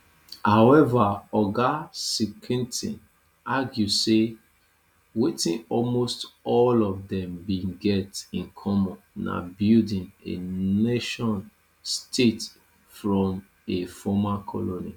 however oga skrentny argue say wetin almost all of dem bin get in common na building a nationstate from a former colony